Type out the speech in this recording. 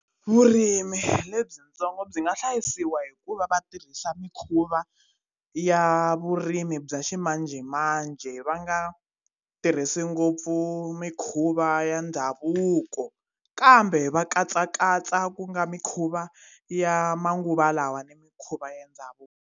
Vurimi lebyitsongo byi nga hlayisiwa hikuva va tirhisa mikhuva ya vurimi bya ximanjhemanjhe va nga tirhisi ngopfu mikhuva ya ndhavuko kambe va katsakatsa ku nga mikhuva ya manguva lawa ni mikhuva ya ndhavuko.